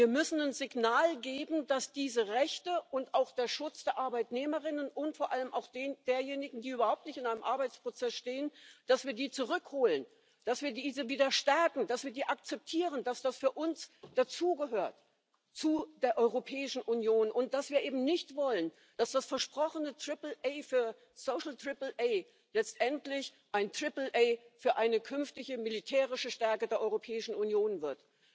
Wir müssen ein Signal geben, dass wir diese Rechte und auch den Schutz der Arbeitnehmerinnen und vor allem auch derjenigen, die überhaupt nicht in einem Arbeitsprozess stehen wieder stärken, dass wir die zurückholen, dass wir sie akzeptieren, dass das für uns dazu gehört, zu der Europäischen Union, und dass wir eben nicht wollen, dass das versprochene Triple A für Social Triple A letztendlich ein Triple A für eine künftige militärische Stärke der Europäischen Union wird.